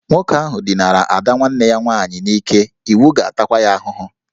Nwoke ahụ dinara ada nwanne ya nwaanyị n'ike, iwu ga-atakwa ya ahụhụ